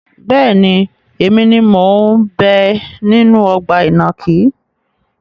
Bẹ́ẹ̀ni, èmi ni mo ń bẹ nínú ọgbà ìnàkí.